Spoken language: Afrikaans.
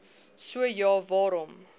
so ja waarom